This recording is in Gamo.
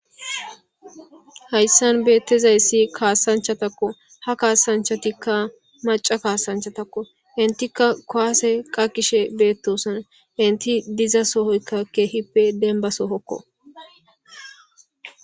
hayssan beettezayssi kaasanchatakko ha kaasanchatikka maca kaasanchatakko intikka koase qa kishe beettosona inti diza sohoykka keehippe denba sohokko